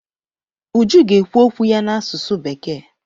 Uju ga-ekwu okwu ya n'asụsụ bekee.